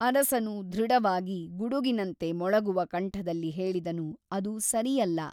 ಅರಸನು ದೃಢವಾಗಿ ಗುಡುಗಿನಂತೆ ಮೊಳಗುವ ಕಂಠದಲ್ಲಿ ಹೇಳಿದನು ಅದು ಸರಿಯಲ್ಲ.